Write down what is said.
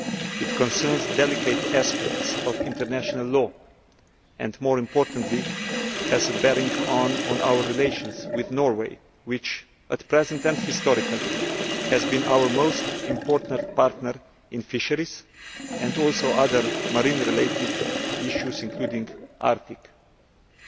It concerns delicate aspects of international law and, more importantly, has a bearing on our relations with Norway which, at present and historically, has been our most important partner in fisheries and also other marine related, including Arctic, issues.